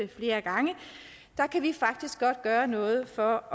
flere gange faktisk godt gøre noget for